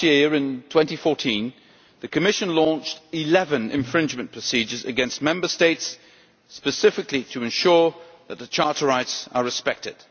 In 2014, the Commission launched 11 infringement procedures against Member States specifically to ensure that Charter rights are respected.